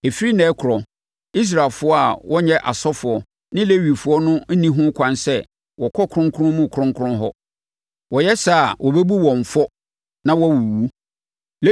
Ɛfiri ɛnnɛ rekorɔ, Israelfoɔ a wɔnyɛ asɔfoɔ ne Lewifoɔ no nni ho kwan sɛ wɔkɔ kronkron mu kronkron hɔ. Wɔyɛ saa a, wɔbɛbu wɔn fɔ na wɔawuwu.